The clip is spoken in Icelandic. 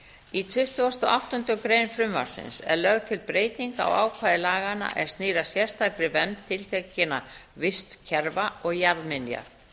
í tuttugasta og áttundu grein frumvarpsins eru lögð til breyting á ákvæði laganna er snýr að sérstakri vernd tiltekinna vistkerfa og jarðminja